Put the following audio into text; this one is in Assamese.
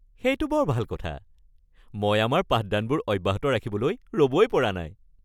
সেইটো বৰ ভাল কথা! মই আমাৰ পাঠদানবোৰ অব্যাহত ৰাখিবলৈ ৰ’বই পৰা নাই।